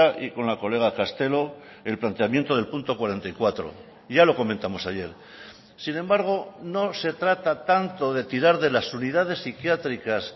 y con la colega castelo el planteamiento del punto cuarenta y cuatro ya lo comentamos ayer sin embargo no se trata tanto de tirar de las unidades psiquiátricas